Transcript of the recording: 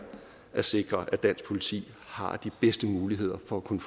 at sikre at dansk politi har de bedste muligheder for at kunne